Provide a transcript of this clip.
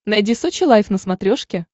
найди сочи лайф на смотрешке